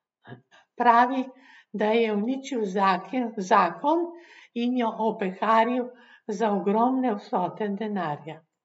Pravi, da ji je uničil zakon in jo opeharil za ogromne vsote denarja.